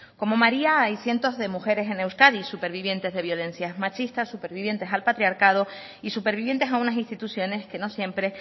como maría hay cientos de mujeres en euskadi supervivientes de violencias machistas supervivientes al patriarcado y supervivientes a unas instituciones que no siempre